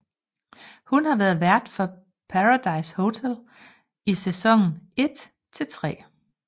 Hun har været vært for Paradise Hotel i sæson 1 til 3